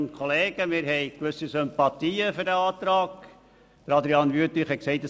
Adrian Wüthrich hat gesagt, es werde ein Kampfbegriff eingeführt.